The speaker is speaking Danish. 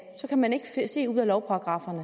man ikke ud af lovparagrafferne